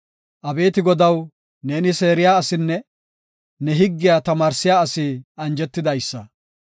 Abeeti Godaw, neeni seeriya asinne ne higgiya tamaarsiya asi anjetidaysa.